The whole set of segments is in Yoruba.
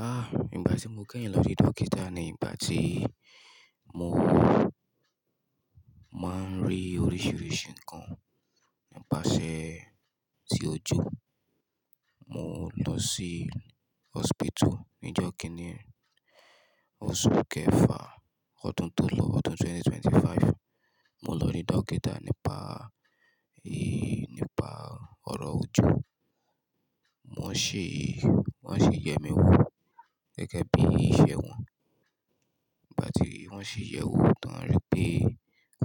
Ah, ìgbà tí mo kẹ́yìn lọ rí dókítà ni ìgbà tí mo máa ń rí oríṣiríṣi nǹkan nípasẹ̀ ti ojú. Mo lọ sí hospital ní ọjọ́ kíní, oṣù kẹfà, ọdún tó lọ, ọdún 2025. Mo lọ ri dókítà nípa, ẹ, nípa ọ̀rọ̀ ojú. Wọ́n ṣi, wọ́n sì yẹ mi wò gẹ́gẹ́ bí iṣẹ́ wọn. Nigbati won si ye wo tan, won ri pe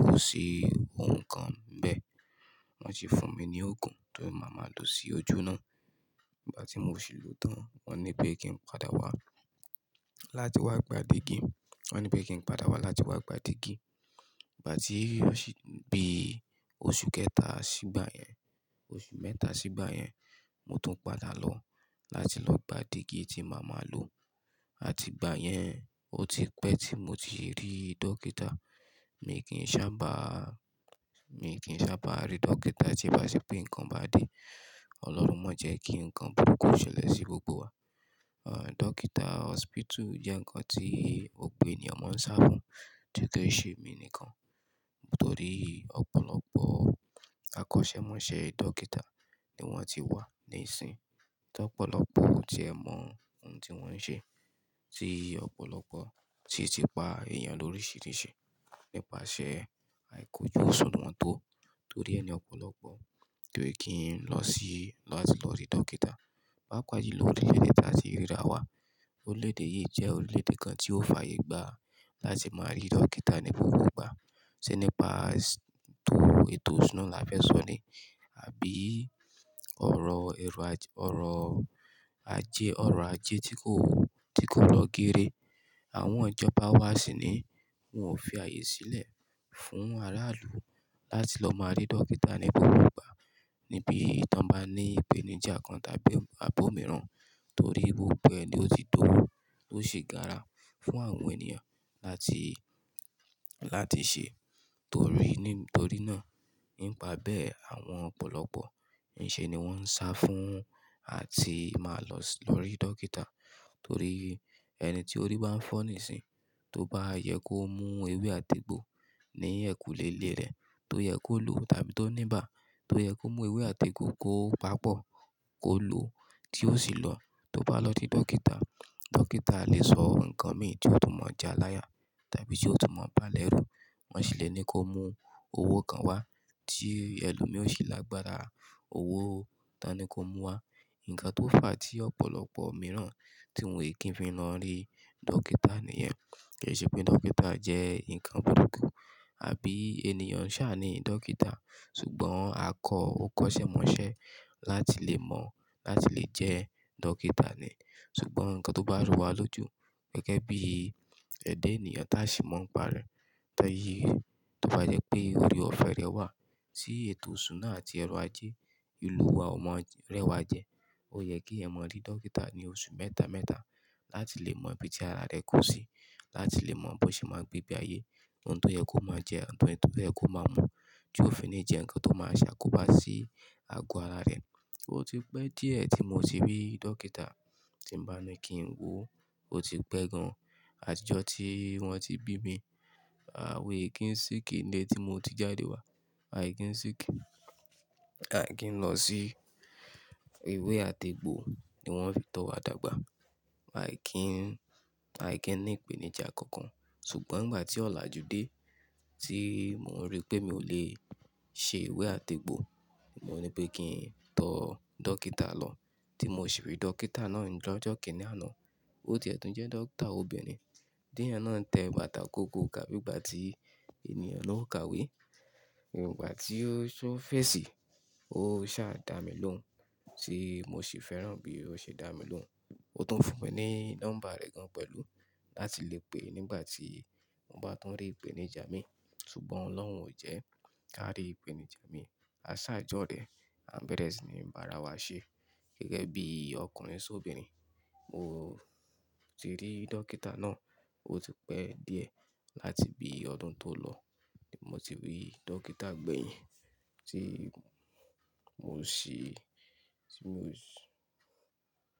ko si ohun kan nbe, won si fun mi ni ogun ti ma maa lo si oju naa. Ìgbà tí mò ṣì lò tán, wọ́n ní pé kí n padà wá láti wá gba dígí. Wọ́n ní pé kí n padà wá láti wá gba dígí. Igba ti o si di bi osu keta sigba yen, osu meta sigba yen mo tun pada lo lati lo gba digi ti ma maa lo àti ìgbà yẹn, ó ti pẹ́ tí mo ti rí dókítà. Mi kì í sábà, mi kì í sábà rí dókítà tí o bà se pé nǹkan bá dé. Ọlọ́run máa jẹ́ kí nǹkan burúkú ṣẹlẹ̀ sí gbogbo wa. Ẹ̀, dókítà, hospital jẹ́ nǹkan tí ọ̀pọ̀ ènìyàn máa ń sá fún, tí kò ṣe emí nìkan. Nitori opolopo akosemose dokita ni won ti wa nisin tí ọ̀pọ̀lọpọ̀ o tiẹ mọ ohun tí wọ́n ń ṣe. Tí ọ̀pọ̀lọpọ̀ si ti pa èèyàn lóríṣiríṣi nípasẹ̀ àìkójù òṣùnwọ̀n tó. Torí ẹni ọ̀pọ̀lọpọ̀ ko kí n lọ sí, láti lọ rí dókítà. Paapa jùlọ ó ti lé tí a ti rí ra wá. Orílẹ̀-èdè yìí jẹ́ orílẹ̀-èdè kan tí ó fàyè gbà láti máa rí dókítà ní gbogbo ìgbà. Ṣé nípa tò ètò ìṣúná làá fẹ́ sọ ni? Àbí ọrọ̀ èrò ajé, ọrọ̀ ajé, ọrọ̀ ajé tí kò, tí kò lọ géré. Àwọn ìjọba wa sì ní wọ́n ò fi ààyè sílẹ̀ fún aráàlú láti lọ máa rí dókítà ní gbogbo ìgbà. Níbi tí wọ́n bá ní ìpèníjà kan tàbí àbó mìíràn, torí gbogbo ẹ̀ ni ó ti dowó, tó ṣì gára fún àwọn ènìyàn láti, láti ṣe. Torí, nítorí náà, nípa bẹ́ẹ̀ àwọn ọ̀pọ̀lọpọ̀ ǹṣe ni wọ́n ń sá fún àti máa lọ lọ rí dókítà. Torí ẹni tí orí bá ń fọ́ níìsín, tó bá yẹ kó mú ewé àti egbò ní ẹ̀kùlé ilé rẹ̀, tó yẹ kó lòọ tàbí tó níbà, tó yẹ kó mú ewé àti egbò kó paápọ̀ kó lòó tí ó sì lọ. Tó bá lọ sí dókítà, dókítà lè sọ nǹkan mi tí ó tún mọ̀ já láyà tàbí tí ó tún mọ̀ báá lẹ́rù. Wọ́n sì lè ní kó mú owó kan wá tí ẹlòmíràn ó ṣì lágbára owó ta ni kó mú wá. Ǹǹkan tó fà á tí ọ̀pọ̀lọpọ̀ mìíràn tí wọn kì í fi lọ rí dókítà nìyẹn. Kì í ṣe pé dókítà jẹ́ nǹkan burúkú àbí ènìyàn ń ṣà ní dókítà. Sugbọn akọ, ó kọ́ṣẹ́ mọ́ṣẹ́ láti lè mọ̀ láti lè jẹ́ dókítà ni. Sugbọn ǹkan tó bá rú wa lójú gẹ́gẹ́ bí ẹ̀dá ènìyàn tí a sì mọ̀ ńparẹ̀ Tọ́ yí, tó bá yẹ pé orí ọ̀fẹ́ rẹ wà tí ètò ìṣúná àti ọrọ̀ ajé ìlú wa ọ̀mọ rẹ́wa jẹ. Ó yẹ kí èèyàn mọ rí dókítà ní oṣù mẹ́ta mẹ́ta láti lè mọ ibi tí ara rẹ kù sí, láti lè mọ bó ṣe máa gbé bí ayé, ohun tó yẹ kó máa jẹ, ohun tó yẹ kó máa mu, tí ó fi ní jẹ ǹkan tó máa ṣàkóbá sí àgọ́ ara rẹ̀. Ó ti pẹ́ díẹ̀ tí mo ti rí dókítà tí ń bá ní kí n wòó. Ó ti pẹ́ gan-an àti ọjọ́ tí wọ́n ti bí mi. Àwa ẹ̀ kí n sick ni ilé tí mo ti jáde wá. A è kí n sick a è kí n lọ sí ewé àti egbò ni wọ́n fi tọ́ wa dàgbà. A è kí n, a è kí n ní ìpèníjà kankan. Sugbọn ìgbà tí ọ̀làjú dé tí mò ń rí pé mi ò lè ṣe ewé àti egbò, mo ní pé kí n tọ dókítà lọ. Tí mo sì rí dókítà náà ní ọjọ́ kìní àná. Ó ti ẹ̀ tún jẹ́ dókítà obìnrin. Díẹ̀ náà tẹ bàtà kokokà bí ìgbà tí ènìyàn ló ń ka ìwé. Ǹìgbà tí ó fèsì, ó sá dà mí lóhùn, tí mo sì fẹ́ràn bí ó ṣe dà mí lóhùn. Ó tún fún mi ní nọ́mbà rẹ̀ gan pẹ̀lú láti lè pè nígbà tí mo bá tún rí ìpèníjà mi. Sugbọn Ọlọ́run ò jẹ́ ká rí ìpèníjà mi. Aṣà jọ́ọ̀ rē, à ń bẹ̀rẹ̀ sí ní bá ara wa ṣé gẹ́gẹ́ bí ọkùnrin sóbìnrin. Mo ti rí dókítà náà. Ó ti pẹ́ díẹ̀ láti bí ọdún tó lọ ni mo ti rí dókítà gbẹ̀yìn tí mo ṣì, tí mo ṣì.